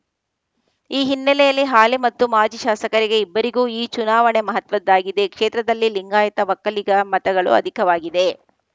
ಈ ಹಿನ್ನೆಲೆಯಲ್ಲಿ ಹಾಲಿ ಮತ್ತು ಮಾಜಿ ಶಾಸಕರಿಗೆ ಇಬ್ಬರಿಗೂ ಈ ಚುನಾವಣೆ ಮಹತ್ವದ್ದಾಗಿದೆ ಕ್ಷೇತ್ರದಲ್ಲಿ ಲಿಂಗಾಯಿತ ಒಕ್ಕಲಿಗ ಮತಗಳು ಅಧಿಕವಾಗಿದೆ